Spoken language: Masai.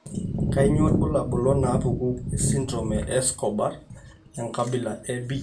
Kainyio irbulabul onaapuku esindirom eEscobar, enkabila e B?